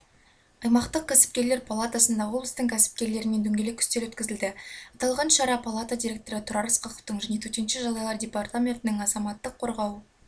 аймақтық кәсіпкерлер палатасында облыстың кәсіпкерлерімен дөңгелек үстел өткізілді аталған шара палата директоры тұрар ысқақовтың және төтенше жағдайлар департаментінің бастығы азаматтық қорғау